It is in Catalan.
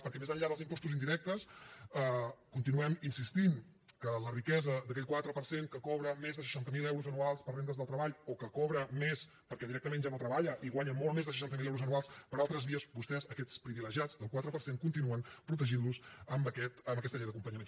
perquè més enllà dels impostos indirectes continuem insistint que la riquesa d’aquell quatre per cent que cobra més de seixanta mil euros anuals per rendes del treball o que cobra més perquè directament ja no treballa i guanya molt més de seixanta mil euros anuals per altres vies vostès a aquests privilegiats del quatre per cent continuen protegint los amb aquesta llei d’acompanyament